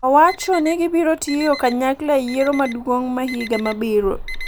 owacho ni gibiro tiyo kanyakla e yiero maduong’ ma higa mabiro.